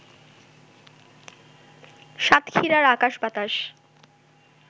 সাতক্ষীরার আকাশ-বাতাস